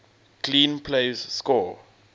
clean plays score